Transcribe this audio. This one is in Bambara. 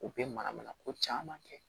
U bɛ mana mana ko caman kɛ